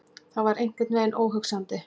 Það var einhvern veginn óhugsandi.